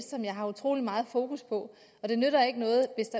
som jeg har utrolig meget fokus på og det nytter ikke noget hvis